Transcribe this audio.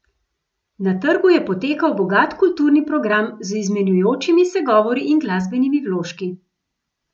Na trgu je potekal bogat kulturni program z izmenjujočimi se govori in glasbenimi vložki.